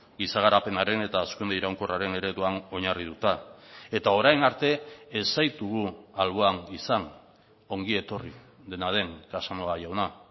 giza garapenaren eta hazkunde iraunkorraren ereduan oinarrituta eta orain arte ez zaitugu alboan izan ongietorri dena den casanova jauna